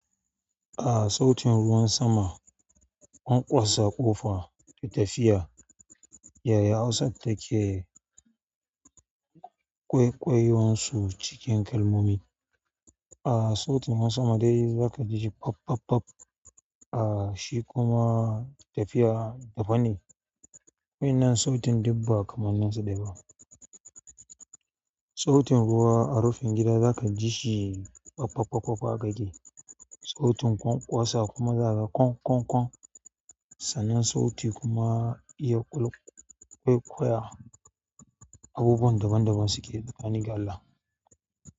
A sautin ruwan sama, ƙwanƙwasa ƙofa da tafiya. Yaya Hausa take ƙwaiƙwayon su cikin kalmomi? A sautin ruwan sama dai za ka ji pop, pop, pop. A shi kuma tafiya daban ne. Waɗannan sautin duk ba kamanin su ɗaya ba, sautin ruwa a rufin gida za ka ji shi kwak, kwak, kwak haka yake sautin ƙwanƙwasa kuma za ka ƙwan, ƙwan, ƙwan. Sannan sauti kuma ƙwaiƙwaya abubuwan daban daban suke tsakani da Allah.